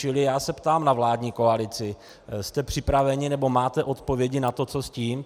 Čili já se ptám na vládní koalici: Jste připraveni nebo máte odpovědi na to, co s tím?